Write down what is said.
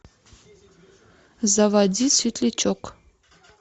заводи светлячок